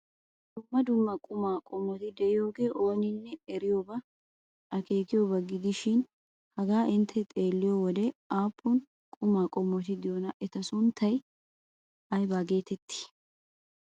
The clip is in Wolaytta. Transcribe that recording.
Dumma dumma qumaa qommoti de'iyogee ooninne eriyobanne akeekiyoba gidishin haga intte xeelliyo wode aappun qumaa qommoti de'iyonaa? Eta sunttay ayba geetettii?